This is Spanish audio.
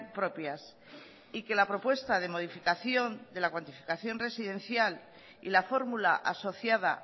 propias y que la propuesta de modificación de la cuantificación residencial y la fórmula asociada